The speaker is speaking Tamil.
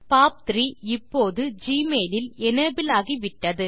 பாப்3 இப்போது ஜிமெயில் இல் எனபிள் ஆகிவிட்டது